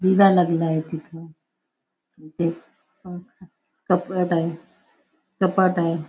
लागला आहे तिथं अन ते पंखा कपाट हाये कपाट आहे.